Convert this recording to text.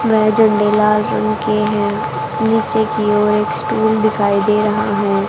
वह झंडे लाल रंग के हैं नीचे की ओर एक स्टूल दिखाई दे रहा है।